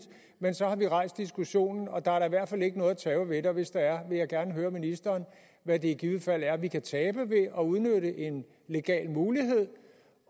men så har vi rejst diskussionen og der er da i hvert fald ikke noget at tabe ved det og hvis der er vil jeg gerne høre ministeren hvad det i givet fald er vi kan tabe ved at udnytte det en legal mulighed